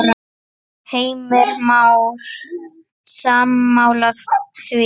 Heimir Már: Sammála því?